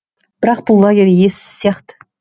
бірақ бұл лагерь иесіз сияқты